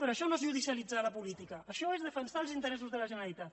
però això no és judicialitzar la política això és defensar els interessos de la generalitat